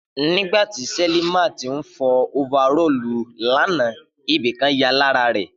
Nígbàtí Selimot ń fọ ofarọ́ọ̀lu l'ana, ibìkan ya lára rè